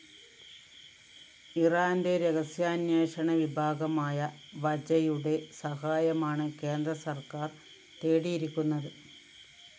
ഇറാന്റെ രഹസ്യാന്വേഷണ വിഭാഗമായ വജയുടെ സഹായമാണ് കേന്ദ്രസര്‍ക്കാര്‍ തേടിയിരിക്കുന്നത്